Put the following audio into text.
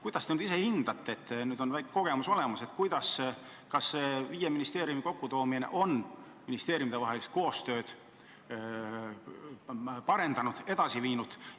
Kuidas te ise hindate, nüüd on väike kogemus olemas, kas viie ministeeriumi kokkutoomine ühte kompleksi on ministeeriumide koostööd parandanud, edasi viinud?